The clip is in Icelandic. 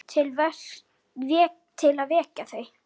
Til að vekja þau.